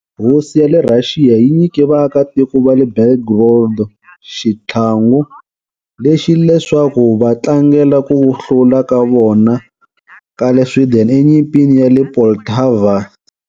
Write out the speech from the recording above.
Hosi ya le Rhaxiya yi nyike vaakatiko va le Belgorod xitlhangu lexi leswaku va tlangela ku hlula ka vona ka le Sweden eNyimpini ya le Poltava,1709.